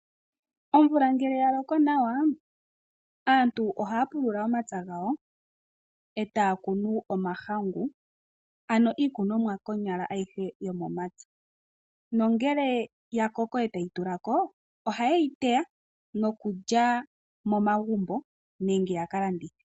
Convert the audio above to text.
Omvula ngele ya loko nawa, aantu ohaya pulula omapya gawo e taya kunu omahangu niikunomwa ayihe yomomapya. Ngele ya koko e tayi tula ko, ohaye yi teya nokulya momagumbo nenge ya ka landithe.